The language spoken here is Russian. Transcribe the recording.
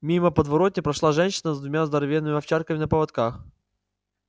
мимо подворотни прошла женщина с двумя здоровенными овчарками на поводках